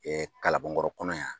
kalabankɔrɔ kɔnɔ yan.